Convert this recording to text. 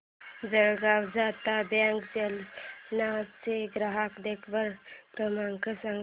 Jalgaon Janata bank Jalna चा ग्राहक देखभाल क्रमांक सांग